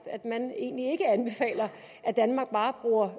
at man egentlig ikke anbefaler at danmark bare bruger